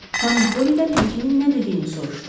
Xanım Pollidən həkimin nə dediyini soruşdu.